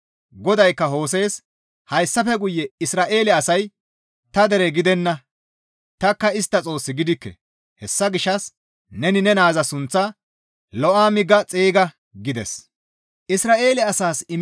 GODAYKKA Hose7e, «Hayssafe guye Isra7eele asay ta dere gidenna; tanikka istta Xoos gidikke. Hessa gishshas neni ne naaza sunththaa, ‹Lo7aami› ga xeyga» gides.